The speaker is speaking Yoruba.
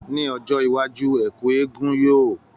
Ní ọjọ́ iwájú, ẹ̀kú egúngún yoo